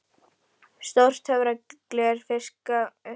Stórt töfragler fiskað upp úr leðurhulstri